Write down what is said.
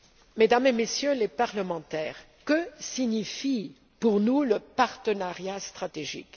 Mesdames et Messieurs les députés, que signifie pour nous le partenariat stratégique?